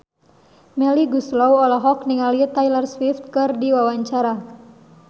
Melly Goeslaw olohok ningali Taylor Swift keur diwawancara